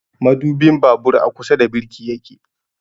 Madubin babur a kusa da birki yake